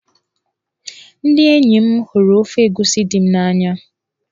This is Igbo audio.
Ndị enyi m hụrụ ofe egusi di m n'anya.